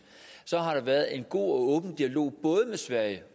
har der været en god og åben dialog både med sverige